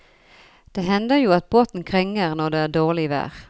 Det hender jo at båten krenger når det er dårlig vær.